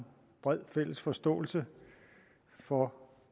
bred fælles forståelse for